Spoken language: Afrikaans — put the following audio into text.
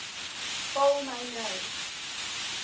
val my nou